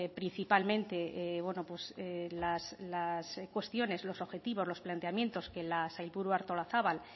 principalmente las cuestiones los objetivos los planteamientos que la sailburu artolazabal